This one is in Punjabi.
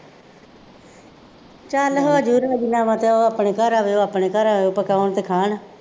ਚੱਲ ਹੋ ਜਾਊ ਰਾਜ਼ੀਨਾਮਾ ਅਤੇ ਉਹ ਆਪਣੇ ਘਰ ਆਵੇ, ਉਹ ਆਪਣੇ ਘਰ ਆਵੇ, ਪਕਾਉਣ ਅਤੇ ਖਾਣ